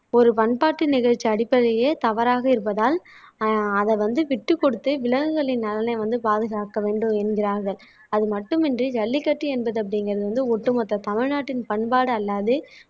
ஒரு பண்பாட்டு நிகழ்ச்சி அடிப்படையே தவறாக இருப்பதால் ஆஹ் அதை வந்து விட்டுக்கொடுத்து விலங்குகளின் நலனை வந்து பாதுகாக்க வேண்டும் என்கிறார்கள் அதுமட்டுமின்றி ஜல்லிக்கட்டு என்பது அப்படிங்கிறது வந்து ஒட்டுமொத்த தமிழ்நாட்டின் பண்பாடு அல்லாது